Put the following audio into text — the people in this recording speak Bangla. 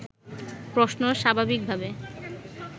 প্রশ্ন স্বাভাবিকভাবে